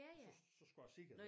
Og så så skulle jeg sige det